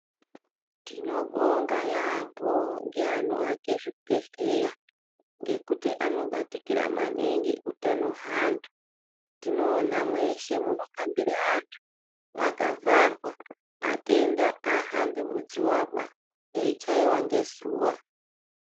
Tinobonga yaamho ngeanoake zvibhedhlera ngekuti anobatikira maningi hutano hwevantu. Tinoona mweshe munohambire antu mwakavharwa, atenda aahambi muzuva ba eichaiwa ngezuwa .